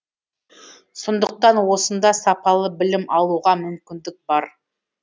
сондықтан осында сапалы білім алуға мүмкіндік бар